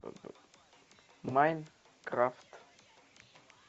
майнкрафт